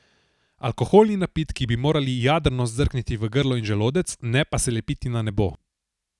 Alkoholni napitki bi morali jadrno zdrkniti v grlo in želodec, ne pa se lepiti na nebo.